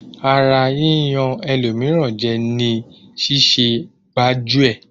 Ara yíyan ẹlòmíràn jẹ ni ṣíṣẹ gbájú-ẹ̀.